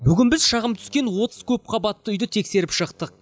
бүгін біз шағым түскен отыз көпқабатты үйді тексеріп шықтық